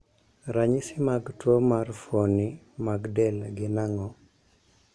Ranyisi mag tuo mar fuoni mag del gin ang'o?